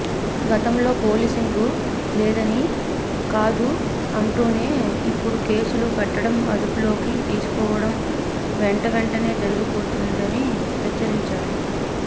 గతంలో పోలీసింగు లేదని కాదు అంటూనే ఇప్పుడు కేసులు పెట్టడం అదుపులోకి తీసుకోవడం వెంటవెంటనే జరిగిపోతుందని హెచ్చరించారు